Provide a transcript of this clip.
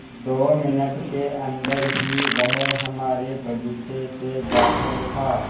दो मिनट के अन्दर ही वह हमारे बगीचे से बाहर था